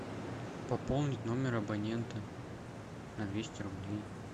пополнить номер абонента на двести рублей